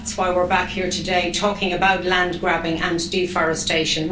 And that's why we're back here today talking about land-grabbing and deforestation.